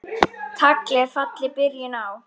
Tagl er fjalli byrjun á.